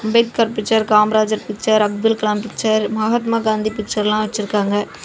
Ambedkar picture Kamarajar picture Abdul Kalam picture Mahatma Gandhi picture வெச்சி இருக்காங்க.